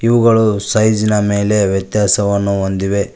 ಇವುಗಳು ಸೈಜ್ ನ ಮೇಲೆ ವ್ಯತ್ಯಾಸವನ್ನು ಹೊಂದಿವೆ.